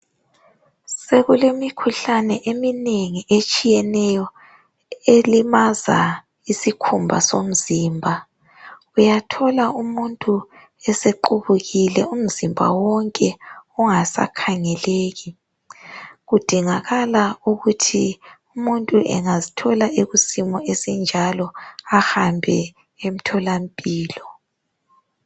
Sekulemikhuhlane eminengi etshiyeneyo elimaza isikhumba somzimba. Uyathola umuntu esequbukile umzimba wonke ungasakhangeleki. Kudingakala ukuthi umuntu angazithola ekusimo esinjalo ahambe emtholampilo.